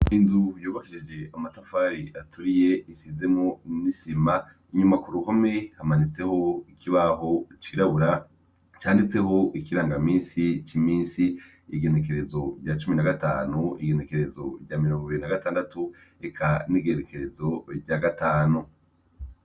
Inzu yobahiije amatafari aturiye izemwo n'isima. Inyuma ku ruhome, hamanitseho ikibaho cirabura, canditseko ikirangaminsi c'iminsi: Igengekerezo rya cumi na gatanu, igenekerezo rya mirongo ibiri na gatandatu, eka n'igenekerezo rya gatanu.